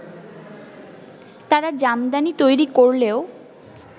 তারা জামদানি তৈরি করলেও